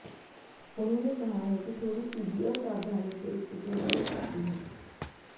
उन्होंने कहा है कि थोड़ी सी भी असावधानी से स्थिति बिगड़ सकती है